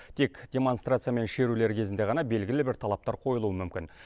тек демонстрация мен шерулер кезінде ғана белгілі бір талаптар қойылуы мүмкін